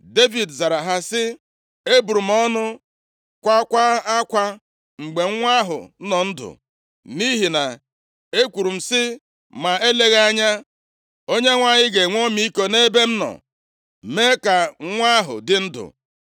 Devid zara ha sị, “Eburu m ọnụ, kwaakwa akwa mgbe nwa ahụ nọ ndụ, nʼihi na ekwuru m sị, ‘ma eleghị anya, Onyenwe anyị ga-enwe ọmịiko nʼebe m nọ mee ka nwa ahụ dị ndụ.’